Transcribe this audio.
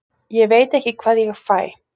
Ég veit ekki hvað ég fæ.